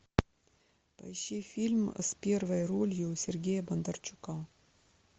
поищи фильм с первой ролью сергея бондарчука